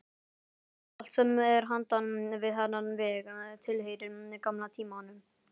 Allt sem er handan við þennan vegg tilheyrir gamla tímanum.